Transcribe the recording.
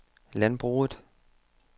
landbruget